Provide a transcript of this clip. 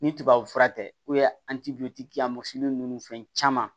Ni tubabu fura tɛ a ma se ninnu fɛn caman